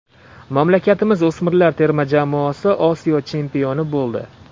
Mamlakatimiz o‘smirlar terma jamoasi Osiyo chempioni bo‘ldi.